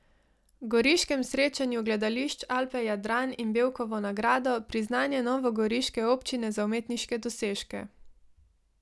Goriškem srečanju gledališč Alpe Jadran in Bevkovo nagrado, priznanje novogoriške občine za umetniške dosežke.